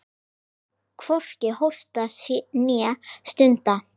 Hvorki hósti né stuna.